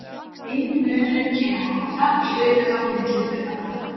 eini munurinn kynni að koma fram í hlutföllunum milli frumefnanna